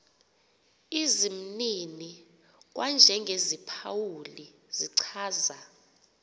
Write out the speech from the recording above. izimnini kwanjengeziphawuli zichaza